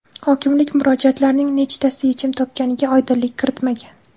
Hokimlik murojaatlarning nechtasi yechim topganiga oydinlik kiritmagan.